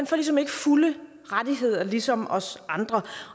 får ligesom ikke fulde rettigheder ligesom os andre